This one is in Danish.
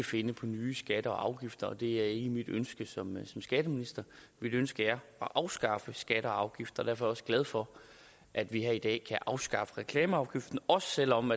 finde på nye skatter og afgifter det er ikke mit ønske som skatteminister mit ønske er at afskaffe skatter og afgifter derfor også glad for at vi her i dag kan afskaffe reklameafgiften også selv om